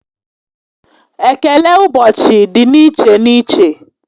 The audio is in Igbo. Ekele ụbọchị dị n'iche n'iche